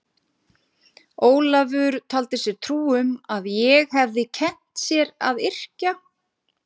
Ólafur taldi sér trú um að ég hefði kennt sér að yrkja.